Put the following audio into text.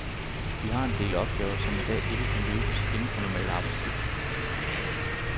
Vi har en del opgaver, som i dag ikke kan løses inden for normal arbejdstid.